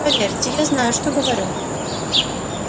поверьте я знаю что говорю